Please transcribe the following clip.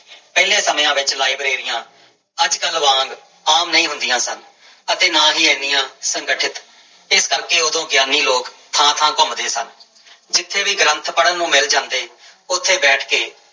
ਪਹਿਲੇ ਸਮਿਆਂ ਵਿੱਚ ਲਾਇਬ੍ਰੇਰੀਆਂ ਅੱਜ ਕੱਲ੍ਹ ਵਾਂਗ ਆਮ ਨਹੀਂ ਹੁੰਦੀਆਂ ਸਨ ਅਤੇ ਨਾ ਹੀ ਇੰਨੀਆਂ ਸੰਗਠਿਤ, ਇਸ ਕਰਕੇ ਉਦੋਂ ਗਿਆਨੀ ਲੋਕ ਥਾਂ ਥਾਂ ਘੁੰਮਦੇੇ ਸਨ ਜਿੱਥੇ ਵੀ ਗ੍ਰੰਥ ਪੜ੍ਹਨ ਨੂੰ ਮਿਲ ਜਾਂਦੇ, ਉੱਥੇ ਬੈਠ ਕੇ